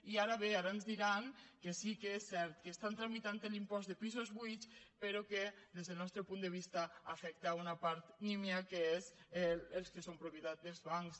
i ara bé ara ens diran que sí que és cert que estan tramitant l’impost de pisos buits però que des del nostre punt de vista afecta una part nímia que són els que són propietat dels bancs